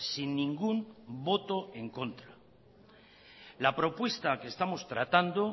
sin ningún voto en contra la propuesta que estamos tratando